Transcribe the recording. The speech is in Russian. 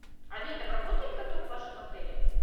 а летом работает каток в вашем отеле